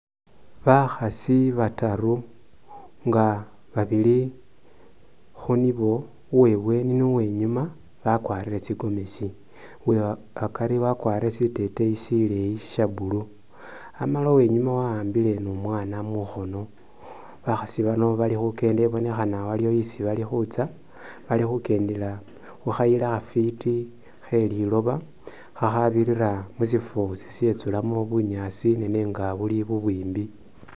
Bakhasi bataru nga babili khunibo uwebweni ni uwe iunuma bakwarile tsigomesi uwekhakari wakwarile shiteteyi shileeyi sha blue amala ni uwenyuma wakhambile ni umwana mukhono bakhasi bano bali khukenda ibonekhana iliwo isi balikhutsa bali khukendela khu khayila khafiti khe liloba kha khadirila mushifo shishitsulamo bunyaasi nenga buli bubwimbi.